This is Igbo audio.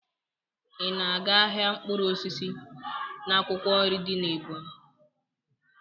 Ị na-aga ahịa mkpụrụ osisi na akwụkwọ nri dị n'Ebonyị?